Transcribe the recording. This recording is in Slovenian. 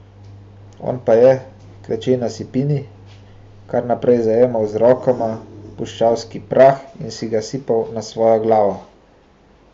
On pa je, kleče na sipini, kar naprej zajemal z rokama puščavski prah in si ga sipal na svojo glavo.